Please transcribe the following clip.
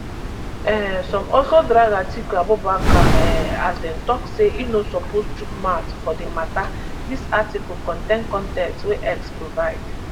um some also drag atiku abubakar um as dem tok say im no suppose chook mouth foir di mata dis article contain con ten t wey x provide